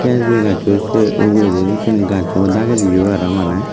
es bi aai gaccho sey uguredi yo syeni gaccho dagedi yo aro maneh.